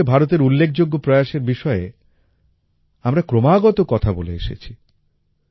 এই লক্ষ্যে ভারতের উল্লেখযোগ্য প্রয়াসের বিষয়ে আমরা ক্রমাগত কথা বলে এসেছি